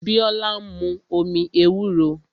Biola ń mu omi ewúro